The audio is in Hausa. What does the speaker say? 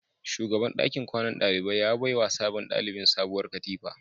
Shugaban dakin kwanan dalibai ya baiwa sabon dalibin sabuwar katifa